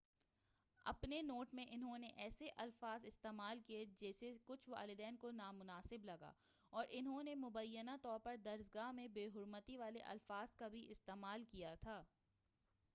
اپنے نوٹ میں انہوں نے ایسے الفاظ استعمال کیے جسے کچھ والدین کو نامناسب لگا اور انہوں نے مبینہ طور پر درسگاہ میں بےحرمتی والے الفاظ کا بھی استعمال کیا تھا